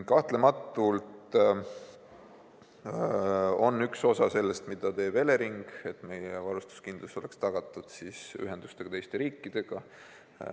Kahtlemata on üks osa sellest, mida teeb Elering, et meie varustuskindlus oleks tagatud ühenduste kaudu teiste riikidega.